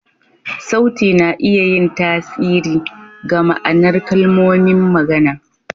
Sauti na iya yin tasiri ga ma'anar kalmomin magana.